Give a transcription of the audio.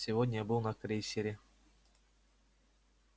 сегодня я был на крейсере